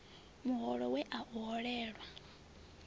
muholo we a u holelwa